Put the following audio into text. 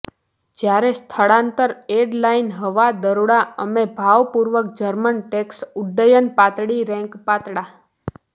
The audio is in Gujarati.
જ્યારે સ્થળાંતર એલાઈડ હવા દરોડા અમે ભારપૂર્વક જર્મન ટેન્ક્સ ઉડ્ડયન પાતળી રેન્ક પાતળા